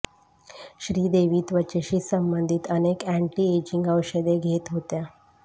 श्रीदेवी त्वचेशी संबंधित अनेक एन्टी एजिंग औषधे घेत होत्या